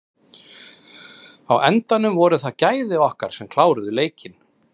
Á endanum voru það gæði okkar sem kláruðu leikinn.